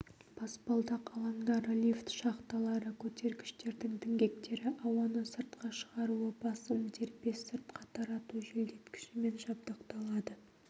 баспалдақ алаңдары лифт шахталары көтергіштердің діңгектері ауаны сыртқа шығаруы басым дербес сыртқа тарату желдеткішімен жабдықталады